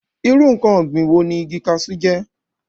irú ǹkan ọ̀gbìn wo ni igi kasú jẹ́?